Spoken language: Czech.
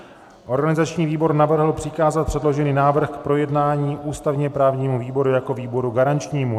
Organizační výbor navrhl přikázat předložený návrh k projednání ústavně-právnímu výboru jako výboru garančnímu.